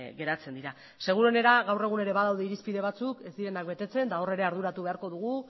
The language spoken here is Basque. geratzen dira seguruenera gaur egun badaude irizpide batzuk ez direnak betetzen eta hor ere arduratu beharko dugu